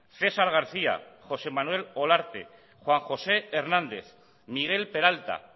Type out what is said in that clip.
cesar garcía josé manuel olarte juan josé hernández miguel peralta